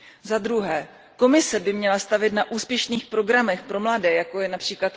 Zadruhé, Komise by měla stavět na úspěšných programech pro mladé, jako je např.